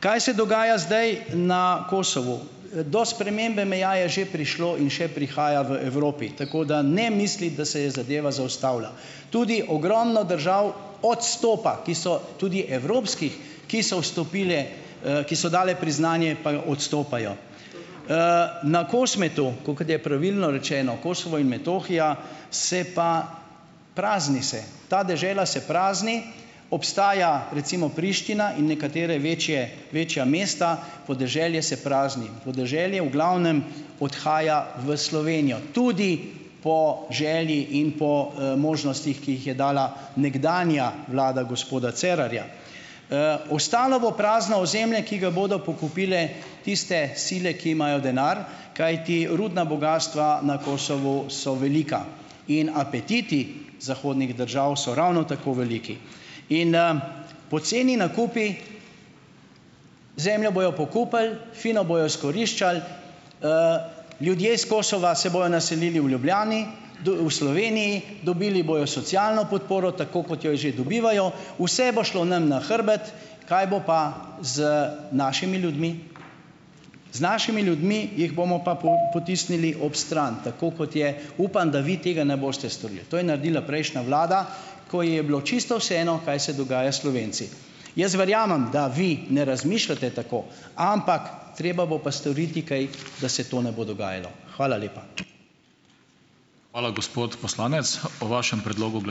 Kaj se dogaja zdaj na Kosovu? do spremembe meja je že prišlo in še prihaja v Evropi, tako da ne misliti, da se je zadeva zaustavila. Tudi ogromno držav odstopa, ki so tudi evropskih , ki so vstopile, ki so dale priznanje pa odstopajo. na Kosmetu, ko kot je pravilno rečeno, Kosovo in Metohija, se pa, prazni se. Ta dežela se prazni, obstaja, recimo Priština in nekatere večje, večja mesta, podeželje se prazni, podeželje v glavnem odhaja v Slovenijo. Tudi po želji in po, možnostih, ki jih je dala nekdanja vlada gospoda Cerarja. ostalo bo prazno ozemlje, ki ga bodo pokupile tiste sile, ki imajo denar, kajti rudna bogastva na Kosovu so velika. In apetiti zahodnih držav so ravno tako veliki. In, poceni nakupi, zemljo bojo pokupili, fino bojo izkoriščali, ljudje s Kosova se bojo naselili v Ljubljani, v Sloveniji, dobili bojo socialno podporo, tako kot jo že dobivajo, vse bo šlo nam na hrbet. Kaj bo pa z našimi ljudmi? Z našimi ljudmi, jih bomo pa potisnili ob stran, tako kot je, upam, da vi tega ne boste storili. To je naredila prejšnja vlada, ko ji je bilo čisto vseeno, kaj se dogaja Slovenci. Jaz verjamem, da vi ne razmišljate tako. Ampak, treba bo pa storiti kaj, da se to ne bo dogajalo. Hvala lepa. Hvala gospod poslanec. Po vašem predlogu ...